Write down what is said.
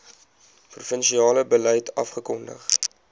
provinsiale beleid afgekondig